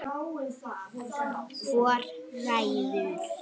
Hvor ræður?